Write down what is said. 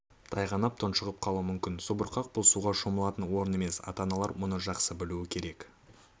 тайғанап тұншығып қалуы мүмкін субұрқақ бұл суға шомылатын орын емес ата-аналар мұны жақсы білуі керек